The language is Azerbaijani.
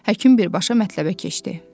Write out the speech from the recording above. Həkim birbaşa mətləbə keçdi.